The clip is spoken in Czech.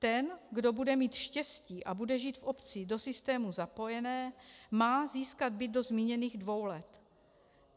Ten, kdo bude mít štěstí a bude žít v obci do systému zapojené, má získat byt do zmíněných dvou let.